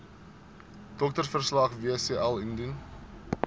doktersverslag wcl indien